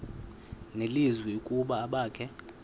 nelizwi ukuba abakhe